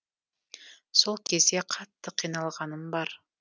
сол кезде қатты қиналғаным бар